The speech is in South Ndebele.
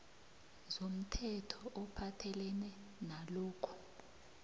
zomthetho ophathelene nalokhu